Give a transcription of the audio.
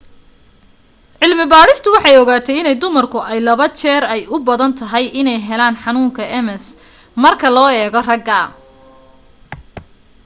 cilmi badhistu waxay ogaatay in dumarku ay laba jeer ay u badan tahay iney heelan xanuunka ms marka loo eego ragga